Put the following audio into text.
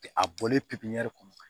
A bɔlen pipiniyɛri kɔnɔ